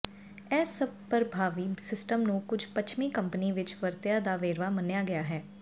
ਇਹ ਸਭ ਪਰਭਾਵੀ ਸਿਸਟਮ ਨੂੰ ਕੁਝ ਪੱਛਮੀ ਕੰਪਨੀ ਵਿੱਚ ਵਰਤਿਆ ਦਾ ਵੇਰਵਾ ਮੰਨਿਆ ਗਿਆ ਹੈ